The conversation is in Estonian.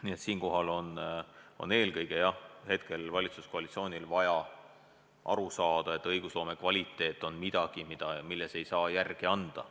Nii et siinkohal on eelkõige, jah, valitsuskoalitsioonil vaja aru saada, et õigusloome kvaliteet on midagi, milles ei saa järele anda.